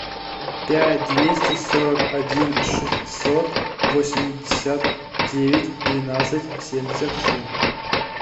пять двести сорок один шестьсот восемьдесят девять двенадцать семьдесят семь